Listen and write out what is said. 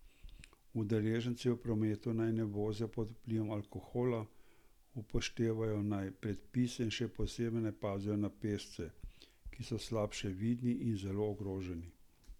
Udeleženci v prometu naj ne vozijo pod vplivom alkohola, upoštevajo naj predpise in še posebej naj pazijo na pešce, ki so slabše vidni in zelo ogroženi.